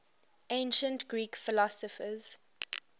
ancient greek philosophers